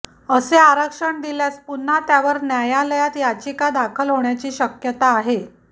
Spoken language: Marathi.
असे आरक्षण दिल्यास पुन्हा त्यावर न्यायालयात याचिका दाखल होण्याची शक्यता आहे